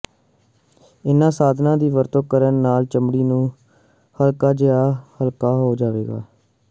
ਇਨ੍ਹਾਂ ਸਾਧਨਾਂ ਦੀ ਵਰਤੋਂ ਕਰਨ ਨਾਲ ਚਮੜੀ ਨੂੰ ਹਲਕਾ ਜਿਹਾ ਹਲਕਾ ਹੋ ਜਾਵੇਗਾ